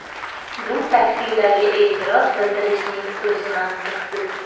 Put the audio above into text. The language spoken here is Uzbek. Bu taksilarga e’tiroz bildirishning o‘zi mantiqsiz.